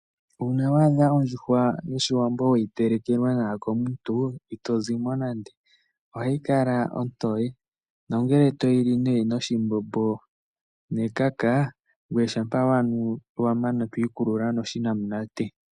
Uuna wa adha ondjuhwa yOshiwambo we yi telekelwa nawa komuntu ito zi mo nande. Ohayi kala ontoye nongele toyi li noshimbombo nekaka, ngoye shampa wa mana to ikulula noshinamunate.